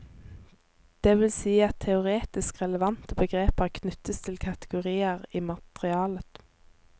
Det vil si at teoretisk relevante begreper knyttes til kategorier i materialet.